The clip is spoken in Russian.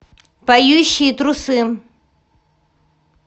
поющие трусы